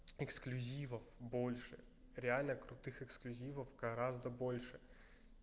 эксклюзивов больше реально крутых эксклюзивов гораздо больше